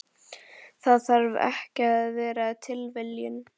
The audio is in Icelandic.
Það þarf ekki að vera tilviljun.